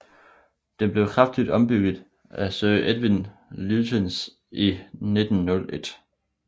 Den blev kraftigt ombygget af Sir Edwin Lutyens i 1901